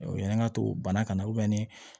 yani n ka to bana kana na ni